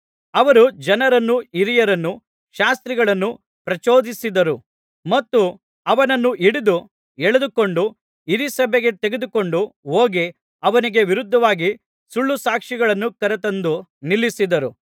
ಅವರು ಜನರನ್ನೂ ಹಿರಿಯರನ್ನೂ ಶಾಸ್ತ್ರಿಗಳನ್ನೂ ಪ್ರಚೋದಿಸಿದರು ಮತ್ತು ಅವನನ್ನು ಹಿಡಿದು ಎಳೆದುಕೊಂಡು ಹಿರೀಸಭೆಗೆ ತೆಗೆದುಕೊಂಡು ಹೋಗಿ ಅವನಿಗೆ ವಿರುದ್ಧವಾಗಿ ಸುಳ್ಳುಸಾಕ್ಷಿಗಳನ್ನು ಕರತಂದು ನಿಲ್ಲಿಸಿದರು